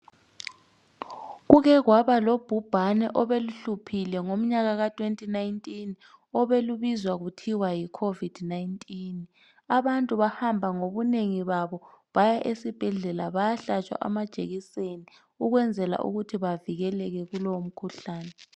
Kuke kwaba lobhubhane obeluhluphile ngomnyaka ka2019 obelubizwa kuthiwa yiCovid 19. Abantu bahamba ngobunengi babo baya esibhedlela bayahlatshwa amajekiseni ukwenzela ukuthi bavikeleke ngobunengi babo.